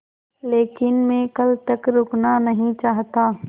लेकिन मैं कल तक रुकना नहीं चाहता